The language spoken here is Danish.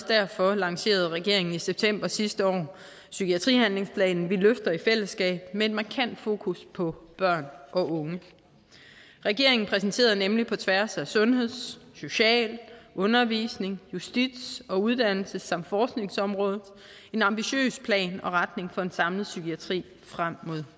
derfor lancerede regeringen i september sidste år psykiatrihandlingsplanen vi løfter i fællesskab med et markant fokus på børn og unge regeringen præsenterede nemlig på tværs af sundheds social undervisnings justits uddannelses samt forskningsområdet en ambitiøs plan og retning for en samlet psykiatri frem mod